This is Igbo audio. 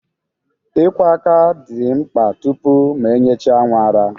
Ị kwọ aka dị mkpa tupu ma enyechaa nwa nri